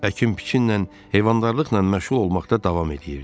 Əkin-biçinlə, heyvandarlıqla məşğul olmaqda davam eləyirdi.